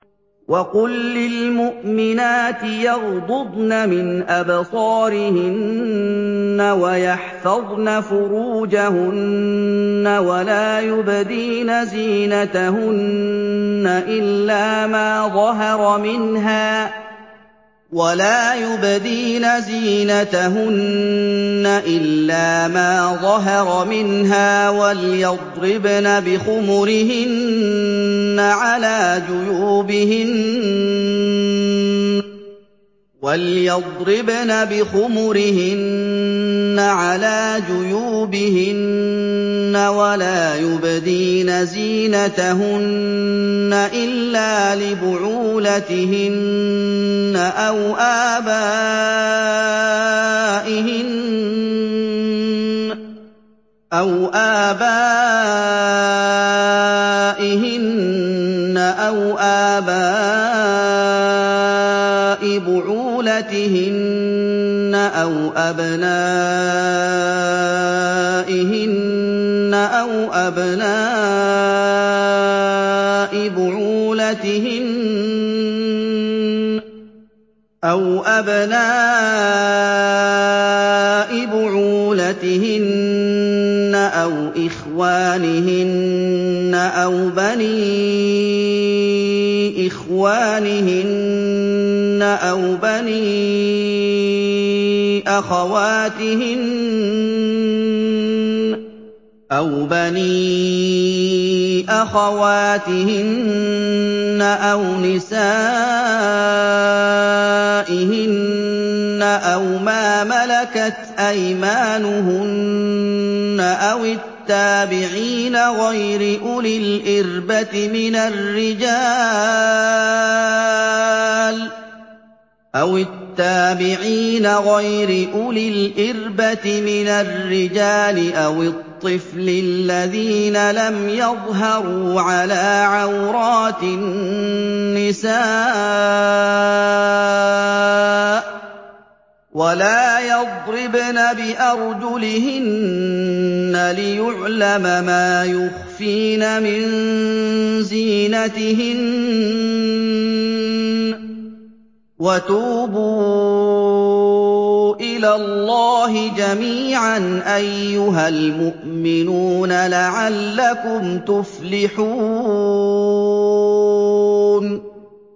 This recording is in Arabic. وَقُل لِّلْمُؤْمِنَاتِ يَغْضُضْنَ مِنْ أَبْصَارِهِنَّ وَيَحْفَظْنَ فُرُوجَهُنَّ وَلَا يُبْدِينَ زِينَتَهُنَّ إِلَّا مَا ظَهَرَ مِنْهَا ۖ وَلْيَضْرِبْنَ بِخُمُرِهِنَّ عَلَىٰ جُيُوبِهِنَّ ۖ وَلَا يُبْدِينَ زِينَتَهُنَّ إِلَّا لِبُعُولَتِهِنَّ أَوْ آبَائِهِنَّ أَوْ آبَاءِ بُعُولَتِهِنَّ أَوْ أَبْنَائِهِنَّ أَوْ أَبْنَاءِ بُعُولَتِهِنَّ أَوْ إِخْوَانِهِنَّ أَوْ بَنِي إِخْوَانِهِنَّ أَوْ بَنِي أَخَوَاتِهِنَّ أَوْ نِسَائِهِنَّ أَوْ مَا مَلَكَتْ أَيْمَانُهُنَّ أَوِ التَّابِعِينَ غَيْرِ أُولِي الْإِرْبَةِ مِنَ الرِّجَالِ أَوِ الطِّفْلِ الَّذِينَ لَمْ يَظْهَرُوا عَلَىٰ عَوْرَاتِ النِّسَاءِ ۖ وَلَا يَضْرِبْنَ بِأَرْجُلِهِنَّ لِيُعْلَمَ مَا يُخْفِينَ مِن زِينَتِهِنَّ ۚ وَتُوبُوا إِلَى اللَّهِ جَمِيعًا أَيُّهَ الْمُؤْمِنُونَ لَعَلَّكُمْ تُفْلِحُونَ